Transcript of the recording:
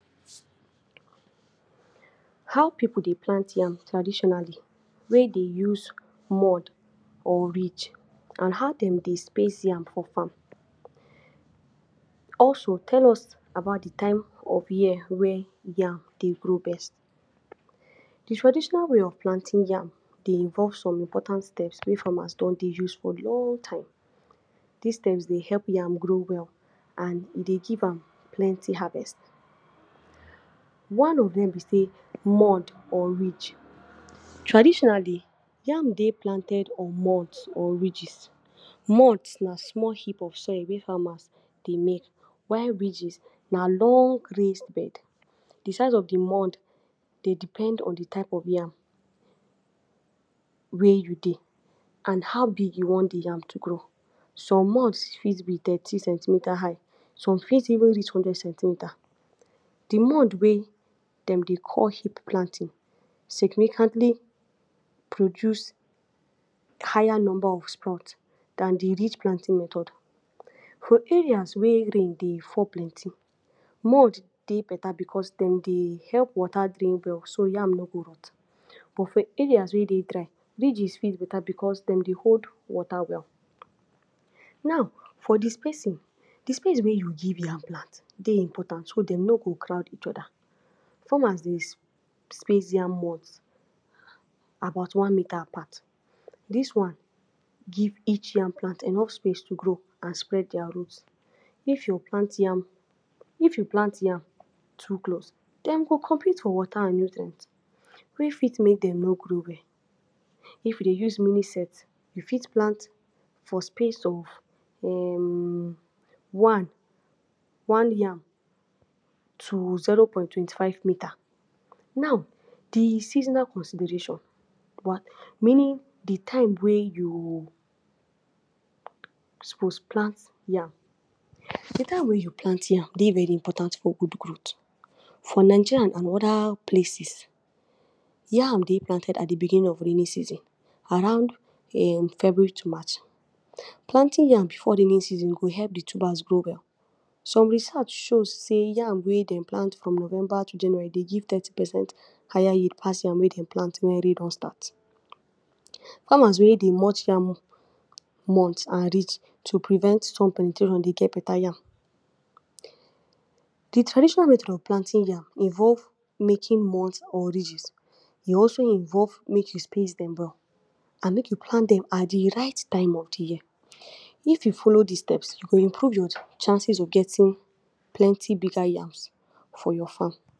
How pipu dey plant yam traditionally wey dey use mound or ridge an how dem dey space yam for farm? Also, tell us about di time of year wey yam dey grow best. Di traditional way of planting yam dey involve some important steps wey farmers don dey use for long time. Dis steps dey help yam grow well, an e dey give am plenti harvest. One of dem be sey mound or ridge. Traditionally, yam dey planted on mounds or ridges. Mounds na small heap of soil wey farmers dey make, while ridges na long raised bed. Di size of di mound dey depend on di type of yam wey you dey an how big you wan di yam to grow. Some mounds fit be thirty centimeter high, some fit even be two hundred centimeter. Di mound wey dem dey call heap planting significantly produce higher number of sprout than di ridge planting method. For areas wey rain dey fall plenty, mound dey beta becos dem dey help water drain well so yam no go rot. But for areas wey dey dry, ridges fit beta becos dem dey hold water well. Nau, for di spacing, di space wey you give yam plant dey important so dem no go crowd each other. Farmers dey space yam mounds about one meter apart. Dis one give each yam plant enough space to grow an spread dia root. If you plant yam, if you plant yam too close, dem go compete for water an nutrient wey fit make dem no grow well. If you dey use mini-set, you fit plant for space of um one one yam to zero point twenty-five meter. Nau, di seasonal consideration, meaning di time wey you suppose plant yam. Di time wey you plant yam dey very important for good growth. For Nigeria an other places, yam dey planted at di beginning of rainy season around um February to March. Planting yam before rainy season go help di tubers grow well. Some research show sey yam wey dem plant from November to January dey give thirty percent higher yield pass yam wey dem plant wen rain don start. Farmers wey dey mount yam mound an ridge to prevent dey get beta yam. Di traditional method of planting yam involve making mounds or ridges. E also involve make you space dem well an make you plant dem at di right time of di year. If you follow dis steps, you go improve your chances of getting plenti bigger yams for your farm.